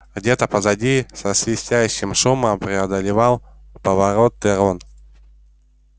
где-то позади со свистящим шумом преодолевал повороты рон